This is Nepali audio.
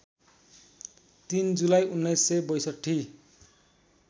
३ जुलाई १९६२